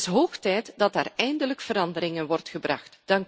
Het is hoog tijd dat daar eindelijk verandering in wordt gebracht.